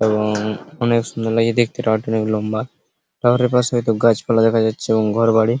এবং অনেক সুন্দর লাগছে দেখতে টাওয়ার টি অনেক লম্বা টাওয়ার এর পাশে একটা গাছপালা দেখা যাচ্ছে এবং ঘরবাড়ি।